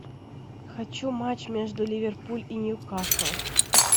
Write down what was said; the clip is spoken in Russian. хочу матч между ливерпуль и ньюкасл